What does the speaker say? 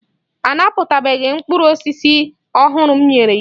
A napụtabeghị mkpụrụ osisi ọhụrụ m nyere n'iwu.